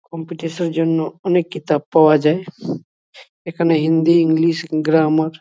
competition -এর জন্য অনেক কিতাব পাওয়া যায় | এখানে হিন্দি ইংলিশ গ্রামার --